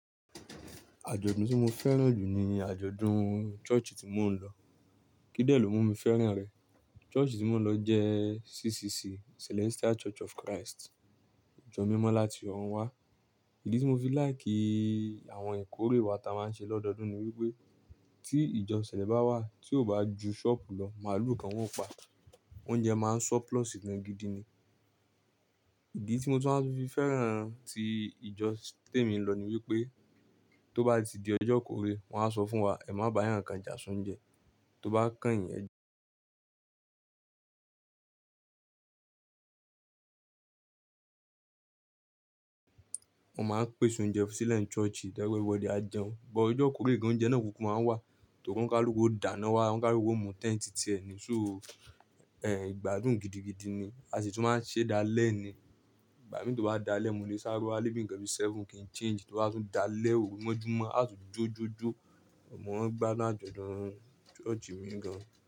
Àjọ̀dún tí mo fẹ́ràn jù ní àjọ̀dún church ì tí mò ń lọ. Kíi dẹ́ẹ̀ ló mú mi fẹ́ràn rẹ̀? Church ì tí mò ń lọ jẹ́ CCC, Celestial Church of Christ. Ijọ mímọ́ láti ọ̀run wá. Ìdí tí mo fi like àwọn ìkórè wa tí a máa ń ṣe lọ́dọọdún ni wípé tí ìjọ Celes bá wá, tí ó bá ju ṣọ́pù lọ, màálù kan wọn ó pa. Oúnjẹ máa ń surplus gan gidi ni. Ìdí tí mo tún máa ń fi fẹ́ràn tí ìjọ tí èmi ń lọ ni wípé tó bá ti di ọjọ́ ìkórè wọ́n á sọ fún wa, "Ẹ má ba ẹyàn ka ìjà soúnjẹ." Tó bá kányìn ẹ wọ́n máa ń pèsè oúnjẹ fú sílẹ̀ n church. Ẹ̀rọ ìwọde á jẹun, gbogbo ọjọ́ ìkórè ni oúnjẹ náà tó máa n wà, ti olukaluku ó dáná wá, ọ̀lukaluku ó mú tent tì ẹ́ ni. So, ẹ́ gbádùn gidigidi ni, a sì tún máa ń ṣe dá alẹ́ ni. Ìgbà mí tó bá dáa lẹ́, mo lè sáre wá lé bi nkàn bi seven kìí n change, tó bá tún dáa lẹ́ òru mọ́júmọ́, a tun jó jó jó. Mo máa ń gbádùn àjọ̀dún ṣọ́ọ̀ṣì mi gan.